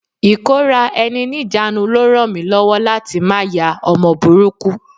Ikora-eni-nijanu ló ràn mí lọ́wọ́ láti má ya ọmọ burúkú.